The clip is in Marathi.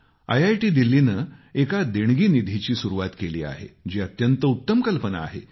आयआयटी दिल्लीने एका देणगी निधीची सुरुवात केली आहे जी अत्यंत उत्तम कल्पना आहे